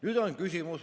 Nüüd on küsimus.